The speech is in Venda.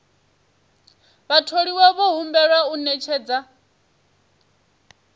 vhatholiwa vho humbelwa u ṅetshedza